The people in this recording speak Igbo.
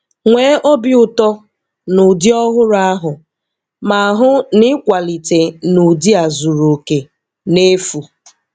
Nwee obi ụtọ na ụdị ọhụrụ ahụ, ma hụ na ị kwalite na ụdị a zuru oke, n'efu.